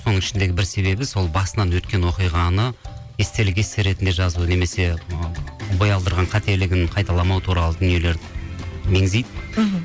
соның ішіндегі бір себебі сол басынан өткен оқиғаны естелік есте ретінде жазу немесе бой алдырған қателігін қайталамау туралы дүниелерді меңзейді мхм